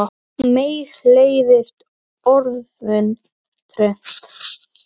Mér leiðist orðið trend.